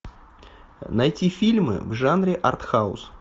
найти фильмы в жанре артхаус